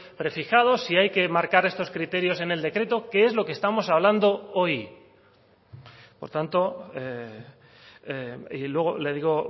prefijados si hay que marcar estos criterios en el decreto que es lo que estamos hablando hoy por tanto y luego le digo